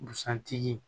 Busan tigi